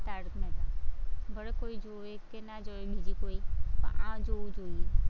ભલે કોઈ જોવે કે ના જોવે બીજી કોઈ પણ આ જોવું જોઈએ.